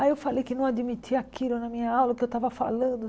Aí eu falei que não admitia aquilo na minha aula que eu estava falando.